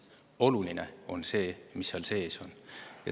Oluline on see, mis seal sees on.